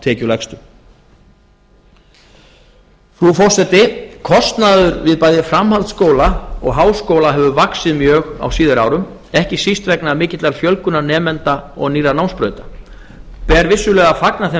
tekjulægstu frú forseti kostnaður við bæði framhaldsskóla og háskóla hefur vaxið mjög á síðari árum ekki síst vegna mikillar fjölgunar nemenda og nýrra námsbrauta ber vissulega að fagna þeim